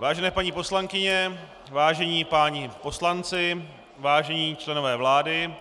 Vážené paní poslankyně, vážení páni poslanci, vážení členové vlády,